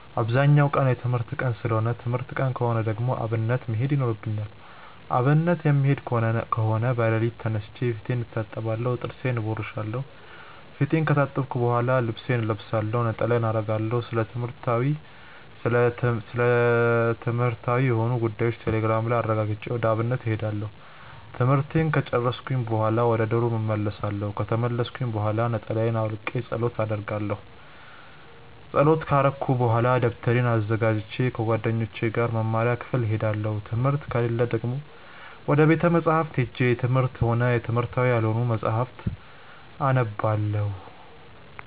አብዛኛው ቀን የትምህርት ቀን ሰለሆነ ትምህርት ቀን ከሆነ ደግሞ አብነት መሄድ ይኖርብኛል። አብነት የምሄድ ከሆነ በለሊቱ ተነስቼ ፊቴን እታጠባለሁ ጥርሴን እቦርሻለው። ፊቴን ከታጠብኩ በሆላ ልብሴን እለብሳለሁ፣ ነጠላዬን አረጋለሁ፣ ስለትምህርትዊ የሆኑ ጉዳዮችን ቴሌግራም ላይ አረጋግጬ ወደ አብነት እሄዳለሁ። ትምህርቱን ከጨርስኩኝ በሆላ ወደ ዶርም እመልሳለው። ከተመለስኩኝ ብሆላ ነጠላየን አውልቄ ፀሎት አረጋለው። ፀሎት ከረኩኝ በሆላ ደብተሬን አዘጋጅቼ ከጓደኞቼ ጋር ወደ መምሪያ ክፍል እሄዳለው። ትምህርት ከሌለ ደግሞ ወደ ቤተ መፅሀፍት ሄጄ የትምህርትም ሆነ የትምህርታዊ ያልሆኑ መፅሀፍትን አነባለው።